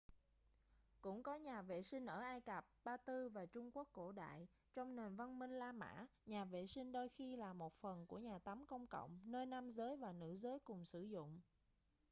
cũng có nhà vệ sinh ở ai cập ba tư và trung quốc cổ đại trong nền văn minh la mã nhà vệ sinh đôi khi là một phần của nhà tắm công cộng nơi nam giới và nữ giới cùng sử dụng